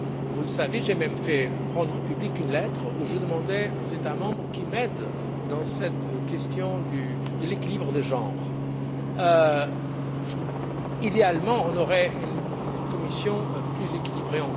Vous le savez, j'ai même fait rendre publique une lettre où je demandais aux États membres de m'aider dans cette question de l'équilibre des genres. Idéalement, on aurait une Commission encore plus équilibrée.